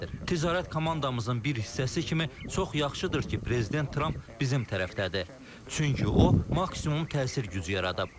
Ticarət komandamızın bir hissəsi kimi çox yaxşıdır ki, prezident Tramp bizim tərəfdədir, çünki o maksimum təsir gücü yaradıb.